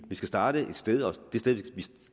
vi skal starte et sted og det sted vi